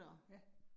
Ja